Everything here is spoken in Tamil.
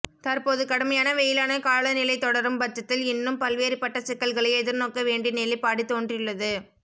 தற்போது கடுமையான வெயிலான காலநிலை தொடரும் பட்சத்தில் இன்னும் பல்வேறுப்பட்ட சிக்கல்களை எதிர்நோக்க வேண்டிய நிலைபாடு தோன்றியுள்ளது